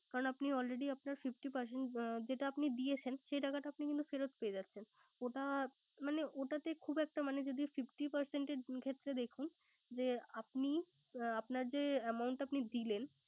কারন আপনি Already আপনার Fifty percent যেটা আপনি দিয়েছেন। সেটা আপনি ফেরত পেয়ে যাচ্ছেন। ওটা মানে ওটাতে মানে খুব একটা মানে যদি fifty percent এর ক্ষেত্রে দেখুন যে আপনি যে আপনার amount দিলেন